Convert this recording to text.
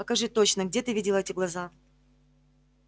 покажи точно где ты видела эти глаза